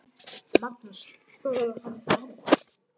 Magnús: Hvað var hann gamall?